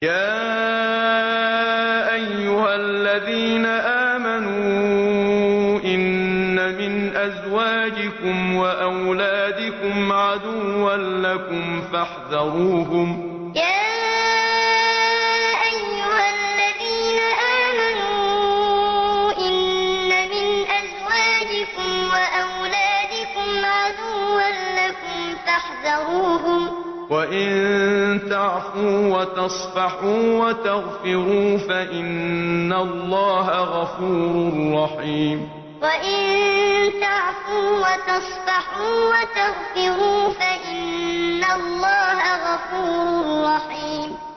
يَا أَيُّهَا الَّذِينَ آمَنُوا إِنَّ مِنْ أَزْوَاجِكُمْ وَأَوْلَادِكُمْ عَدُوًّا لَّكُمْ فَاحْذَرُوهُمْ ۚ وَإِن تَعْفُوا وَتَصْفَحُوا وَتَغْفِرُوا فَإِنَّ اللَّهَ غَفُورٌ رَّحِيمٌ يَا أَيُّهَا الَّذِينَ آمَنُوا إِنَّ مِنْ أَزْوَاجِكُمْ وَأَوْلَادِكُمْ عَدُوًّا لَّكُمْ فَاحْذَرُوهُمْ ۚ وَإِن تَعْفُوا وَتَصْفَحُوا وَتَغْفِرُوا فَإِنَّ اللَّهَ غَفُورٌ رَّحِيمٌ